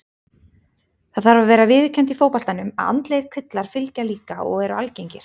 Það þarf að vera viðurkennt í fótboltanum að andlegir kvillar fylgja líka og eru algengir.